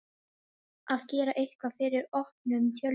Að gera eitthvað fyrir opnum tjöldum